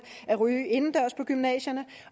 at ryge indendørs på gymnasierne